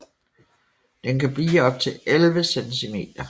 Den kan blive op til 11 cm